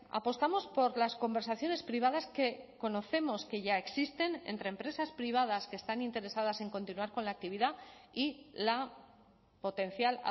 apostamos por las conversaciones privadas que conocemos que ya existen entre empresas privadas que están interesadas en continuar con la actividad y la potencial